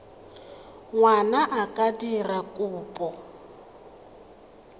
ngwana a ka dira kopo